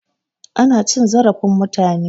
Ana cin zarafin mutane.